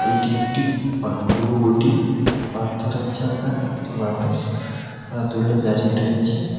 এটি একটি অন অনুবটী পাথরের জায়গায় একটি মানুষ পা তুলে দাঁড়িয়ে রয়েছে।